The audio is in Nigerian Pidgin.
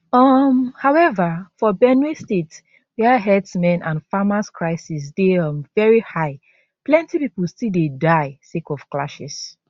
um however for benue state wia herdsmen and farmers crisis dey um veri high plenty pipo still dey die sake of clashes